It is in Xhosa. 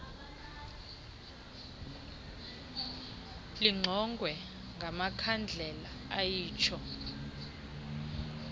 lingqongwe ngamakhandlela ayitsho